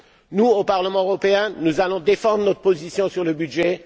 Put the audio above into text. Nous, au Parlement européen, nous défendrons notre position sur le budget.